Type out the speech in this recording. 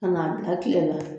Ka n'a bila tile naani